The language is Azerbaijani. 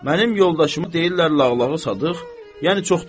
Mənim yoldaşıma deyirlər Lağlağı Sadıq, yəni çox danışan.